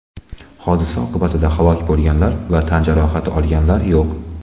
Hodisa oqibatida halok bo‘lganlar va tan jarohati olganlar yo‘q.